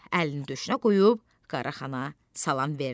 əlini döşünə qoyub Qaraxana salam verdi.